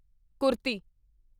kurti